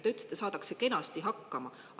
Te ütlesite, et saadakse kenasti hakkama.